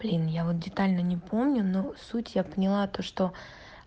блин я вот детально не помню но суть я поняла то что